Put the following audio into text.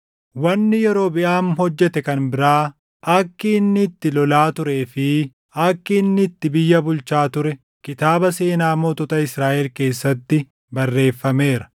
Wanni Yerobiʼaam hojjete kan biraa, akki inni itti lolaa turee fi akki inni itti biyya bulchaa ture kitaaba seenaa mootota Israaʼel keessatti barreeffameera.